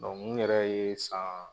Dɔnku n yɛrɛ ye san